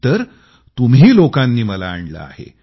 तर तुम्ही लोकांनी मला आणलं आहे